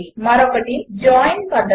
మరొకటి జాయిన్ పద్ధతి